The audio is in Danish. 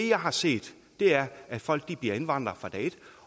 jeg har set er at folk bliver indvandrere fra dag et